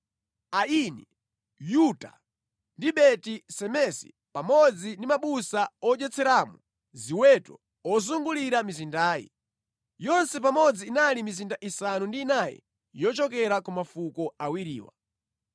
Aini, Yuta, ndi Beti-Semesi pamodzi ndi mabusa odyetseramo ziweto ozungulira mizindayi. Yonse pamodzi inali mizinda isanu ndi inayi yochokera ku mafuko awiriwa.